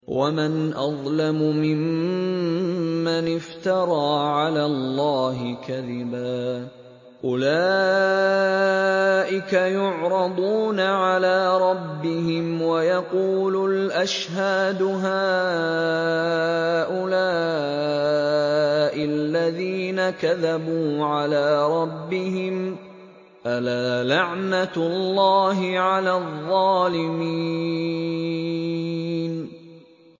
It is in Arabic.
وَمَنْ أَظْلَمُ مِمَّنِ افْتَرَىٰ عَلَى اللَّهِ كَذِبًا ۚ أُولَٰئِكَ يُعْرَضُونَ عَلَىٰ رَبِّهِمْ وَيَقُولُ الْأَشْهَادُ هَٰؤُلَاءِ الَّذِينَ كَذَبُوا عَلَىٰ رَبِّهِمْ ۚ أَلَا لَعْنَةُ اللَّهِ عَلَى الظَّالِمِينَ